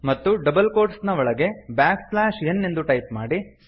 ಮತ್ತು double quotes ನ ಒಳಗೆ ಬ್ಯಾಕ್ ಸ್ಲ್ಯಾಷ್ ಎನ್ ಎಂದು ಟೈಪ್ ಮಾಡಿ